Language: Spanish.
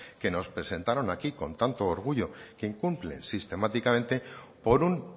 que nos presentaron aquí con tanto orgullo se incumple sistemáticamente por un